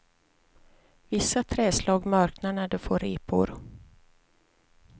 Vissa träslag mörknar när de får repor.